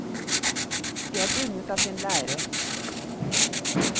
De er bundet av sin lære.